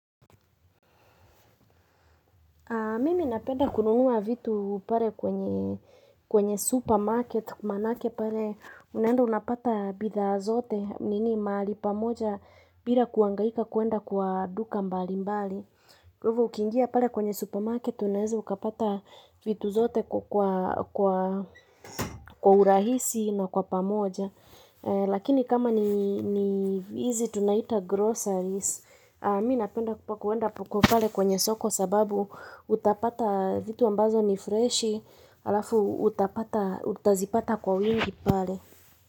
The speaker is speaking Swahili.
Mimi napenda kununua vitu pale kwenye supermarket, manake pale, unaenda unapata bidhaa zote, nini mahali pamoja, bila kuhangaika kuenda kwa duka mbali mbali. Hivo ukiingia pale kwenye supermarket unaweza ukapata vitu zote kwa urahisi na kwa pamoja Lakini kama ni hizi tunaita groceries mimi napenda kuenda kwenye soko sababu utapata vitu ambazo ni fresh halafu utazipata kwa wingi pale.